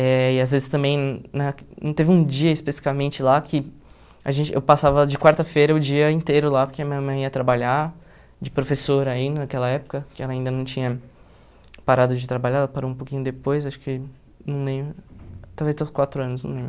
Eh e às vezes também na não teve um dia especificamente lá que a gente eu passava de quarta-feira o dia inteiro lá, porque a minha mãe ia trabalhar de professora ainda naquela época, que ela ainda não tinha parado de trabalhar, ela parou um pouquinho depois, acho que não lembro, talvez estava com quatro anos, não lembro.